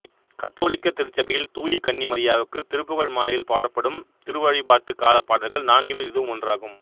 கத்தோலிக்க திருச்சபையில் தூய கன்னி மரியாவுக்கு திருப்புகழ்மாலையில் பாடப்படும் திருவழிபாட்டு கால பாடல்கள் நான்கினுள் இதுவும் ஒன்றாகும்